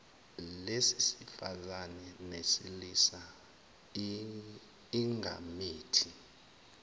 lesifazane nelesilisa igamethi